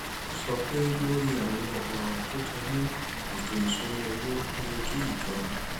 ó sọ pé lórí àwọn òràn tó jẹ mọ ètò ìṣúnná owó ó yẹ kí ìjọba